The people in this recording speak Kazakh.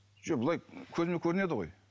жоқ былай көзіме көрінеді ғой